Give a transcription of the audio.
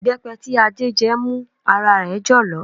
Ìbẹ́pẹ tí Adé jẹ́ mú ara rẹ̀ jọ̀lọ̀